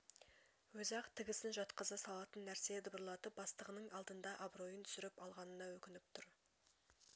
өзі-ақ тігісін жатқыза салатын нәрсені дабырлатып бастығының алдында абыройын түсіріп алғанына өкініп тұр